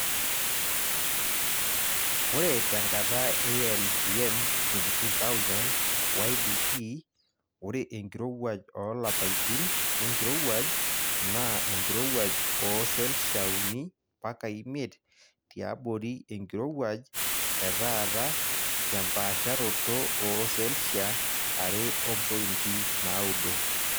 Ore tenkata e LGM 22000 YBP ore enkirowuaj oolapaitin lenkirowuaj naa enkirowuaj ooselshia uni mpaka imiet tiabori enkirowuaj etaata tempaasharoto ooselshia are ompointi naaudo.